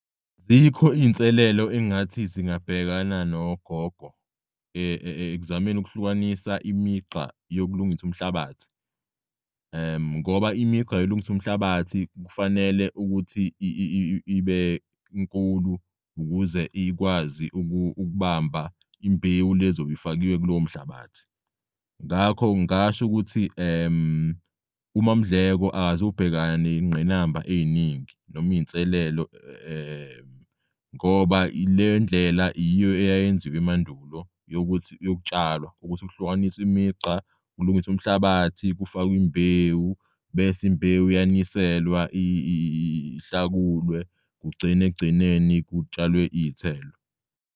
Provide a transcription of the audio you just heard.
Azikho iy'nselelo engathi zingabhekana nogogo ekuzamei ukuhlukanisa imigqa yokulungisa umhlabathi ngoba imigqa yolungis'umhlabathi kufanele ukuthi ibe nkulu ukuze ikwazi ukubamba imbewu lezobifakiwe kulowo mhlabathi. Ngakho ngingasho ukuthi uMam'Ndleko akaz'ubhekane ney'ngqinamba ey'ningi nom'iy'nselelo ngoba lendlela yiyo eyayenziwa emandulo yokutshalwa ukuthi kuhlukanisw'imigqa, kulungisw'umhlabathi, kufakwe imbewu bese imbewu iyaniselwa, kuhlakulwe kugcin'ekugcineni kutshalwe iy'thelo.